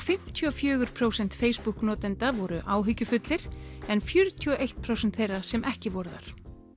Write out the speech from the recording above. fimmtíu og fjögur prósent Facebook notenda voru áhyggjufullir en fjörutíu og eitt prósent þeirra sem ekki voru þar